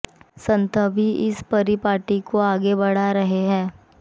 संत भी इसी परिपाटी को आगे बढ़ा रहे हैं